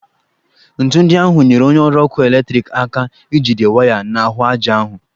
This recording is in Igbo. Ńtù ndị ahụ nyere onye ọrụ ọkụ eletriki aka ijide waya n'ahụ aja ahụ